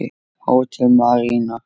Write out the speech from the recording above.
Hótel Marína.